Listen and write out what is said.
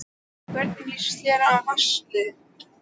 Hvernig lýst þér á Valsliðið?